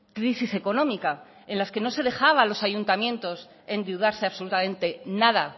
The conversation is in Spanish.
crisis económica en la que no se dejaba a los ayuntamientos endeudarse absolutamente nada